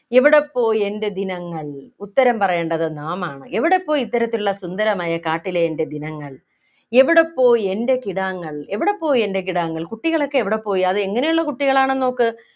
എവിടെപ്പോയി എൻ്റെ ദിനങ്ങൾ ഉത്തരം പറയേണ്ടത് നാം ആണ് എവിടെപ്പോയി ഇത്തരത്തിലുള്ള സുന്ദരമായ കാട്ടിലെ എൻ്റെ ദിനങ്ങൾ എവിടെപ്പോയി എൻ്റെ കിടാങ്ങൾ എവിടെപ്പോയി എൻ്റെ കിടാങ്ങൾ കുട്ടികളൊക്കെ എവിടെപ്പോയി അതെങ്ങനെയുള്ള കുട്ടികളാണ് നോക്ക്